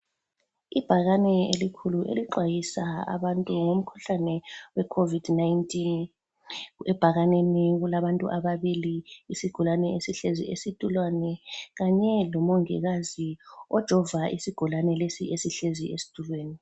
Ibhakane elikhulu elixwayisa abantu ngomkhuhlane wecovid-19. Ebhakaneni kulabantu ababili isigulane esihlezi esitulweni kanye lomongikazi ojova isigulane lesi esihlezi esitulweni.